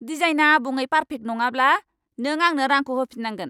डिजाइनआ आबुङै पार्फेक्ट नङाब्ला, नों आंनो रांखौ होफिन्नांगोन।